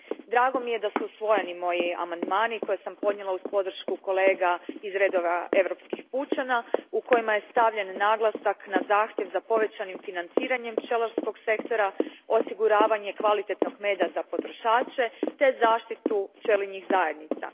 Drago mi je da su usvojeni moji amandmani koje sam podnijela uz podršku kolega iz redova europskih pučana, u kojima je stavljen naglasak na zahtjev za povećanim financiranjem pčelarskog sektora, osiguravanje kvalitetnog meda za potrošače te zaštitu pčelinjih zajednica.